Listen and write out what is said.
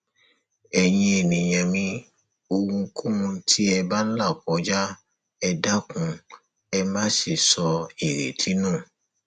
ẹyin ènìyàn mi ohunkóhun tí ẹ bá ń là kọjá ẹ dákun ẹ má ṣe sọ ìrètí nù